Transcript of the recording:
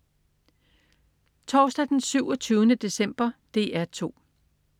Torsdag den 27. december - DR 2: